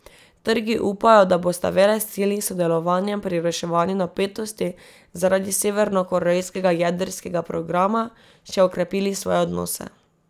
Trgi upajo, da bosta velesili s sodelovanjem pri reševanju napetosti zaradi severnokorejskega jedrskega programa še okrepili svoje odnose.